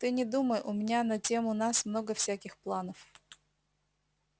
ты не думай у меня на тему нас много всяких планов